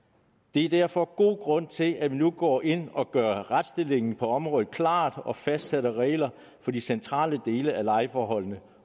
er derfor god grund til at vi nu går ind og gør retsstillingen på området klar og fastsætter regler for de centrale dele af lejeforholdene